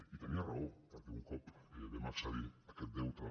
i tenia raó per·què un cop vam accedir a aquest deute